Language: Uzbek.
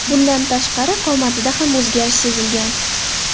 Bundan tashqari, qomatida ham o‘zgarish sezilgan.